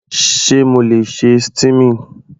Sé mo le ṣe steaming?